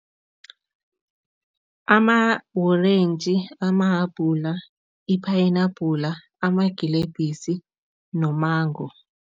Ama-orentji, amahabhula, iphayinabhula, amagilebhisi nomango.